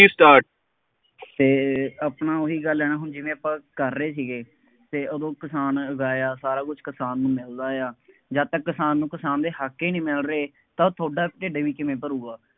K start ਅਤੇ ਆਪਣਾ ਉਹੀ ਗੱਲ ਹੈ ਨਾ ਹੁਣ ਜਿਵੇਂ ਆਪਾਂ ਕਰ ਰਹੇ ਸੀਗੇ ਅਤੇ ਉਦੋਂ ਕਿਸਾਨ ਉਗਾਇਆ, ਸਾਰਾ ਕੁੱਝ ਕਿਸਾਨ ਨੂੰ ਮਹਿੰਗਾ ਆ, ਜਦ ਤੱਕ ਕਿਸਾਨ ਨੂੰ ਕਿਸਾਨ ਦੇ ਹੱਕ ਹੀ ਨਹੀਂ ਮਿਲ ਰਹੇ ਤਾਂ ਤੁਹਾਡਾ ਢਿੱਡ ਵੀ ਕਿਵੇਂ ਭਰੂਗਾ।